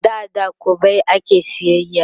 da da kwabbai ake sayayya